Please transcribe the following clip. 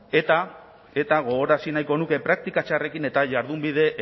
eta gogorazi nahiko nuke praktika txarrekin eta jardunbide